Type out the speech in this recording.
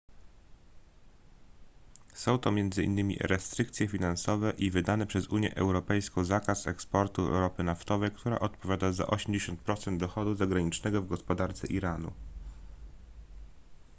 są to m.in restrykcje finansowe i wydany przez unię europejską zakaz eksportu ropy naftowej która odpowiada za 80% dochodu zagranicznego w gospodarce iranu